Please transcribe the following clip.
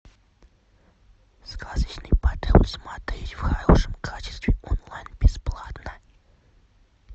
сказочный патруль смотреть в хорошем качестве онлайн бесплатно